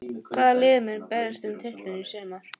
Hvaða lið munu berjast um titilinn í sumar?